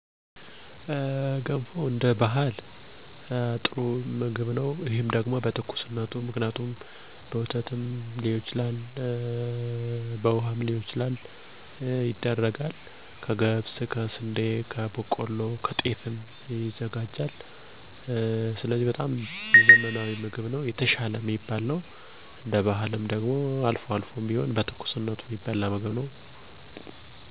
እኔ ገንፎ መመገብ ደስ ይለኛል ገንፎ ከባህላዊ ምግብ አንዱ ሲሆን በትኩሱ የሚበላ ስመገበዉ ዘና የሚያደርገኝ የምግብ አይነት ነዉ። ስንዴ፣ ገብስ፣ በቆሎ እህል እናስፈጫለን ከዚያም፦ ዉሀዉን አፍልተን ጨዉ ጨምረን በማማሰያ <ዱቄት እየጨመርን እናገነፋለን>ከእኛ ቤተሰብ የወተት ገንፎም እናዘጋጃሀን በትንሽ ዉሀ ወተት ጨምረን አፍልተን ዱቄት እየጨመርን እናገነፋለን ከዚያ ጠዋት ጠዋት በትኩሱ እንበላለን። ሴቶች ሲወልዱም ብዙ ጊዜ ይመገቡታል ከወለደችዉ ቤትም <የማርያም መሸኛ ተብሎ>በማህበር ይበላል።